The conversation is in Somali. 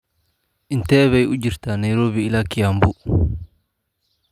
intee bay u jirtaa nairobi ilaa kiambu